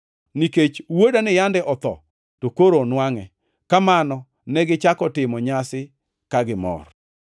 Nikech wuodani yande otho, to koro onwangʼe.’ Kamano negichako timo nyasi ka gimor.